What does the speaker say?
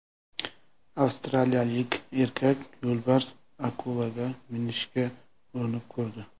Avstraliyalik erkak yo‘lbars akulaga minishga urinib ko‘rdi .